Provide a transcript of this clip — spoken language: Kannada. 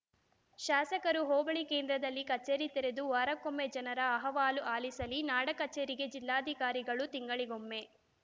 ಶಾಸಕರು ಹೋಬಳಿ ಕೇಂದ್ರದಲ್ಲಿ ಕಚೇರಿ ತೆರೆದು ವಾರಕ್ಕೊಮ್ಮೆ ಜನರ ಅಹವಾಲು ಆಲಿಸಲಿ ನಾಡ ಕಚೇರಿಗೆ ಜಿಲ್ಲಾಧಿಕಾರಿಗಳು ತಿಂಗಳಿಗೊಮ್ಮೆ